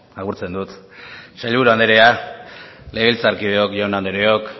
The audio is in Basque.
agurtzen dut sailburu anderea legebiltzarkideok jaun andreok